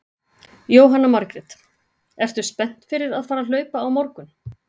Jóhanna Margrét: Ertu spennt fyrir að fara að hlaupa á morgun?